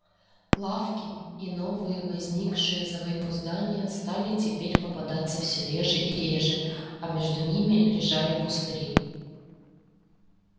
лавки и новые возникшие за войну здания стали теперь попадаться всё реже и реже а между ними лежали пустыри